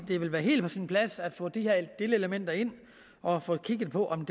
det ville være helt på sin plads at få de her delelementer ind og få kigget på om